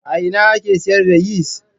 A ina ake siyar da yis?